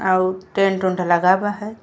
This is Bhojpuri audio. और टेंट उनट लगा बा है।